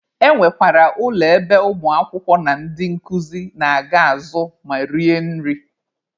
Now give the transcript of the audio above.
E nwekwara ụlọ ebe ụmụ akwụkwọ na ndị nkuzi na-aga azụ ma rie nri.